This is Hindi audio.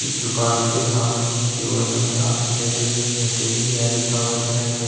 इस दुकान के सामने की ओर हमें आपकी नजर नहीं हटेगी यह लिखा हुआ दिखाई दे रहा।